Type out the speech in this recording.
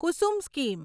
Kusum scheme